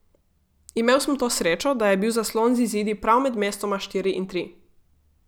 Imel sem to srečo, da je bil zaslon z izidi prav med mestoma štiri in tri.